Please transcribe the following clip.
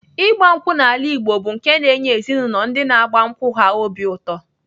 Ịgba nkwụ n'ala Igbo bụ nke na-enye ezinaụlọ ndị na-agba nkwụ ha obi ụtọ.